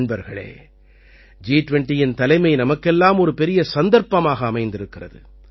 நண்பர்களே ஜி20இன் தலைமை நமக்கெல்லாம் ஒரு பெரிய சந்தர்ப்பமாக அமைந்திருக்கிறது